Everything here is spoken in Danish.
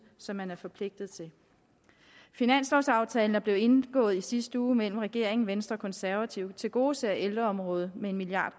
som man er forpligtet til finanslovsaftalen der blev indgået i sidste uge mellem regeringen og venstre og konservative tilgodeser ældreområdet med en milliard